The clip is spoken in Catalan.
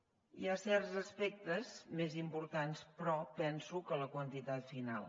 hi ha certs aspectes més importants però penso que la quantitat final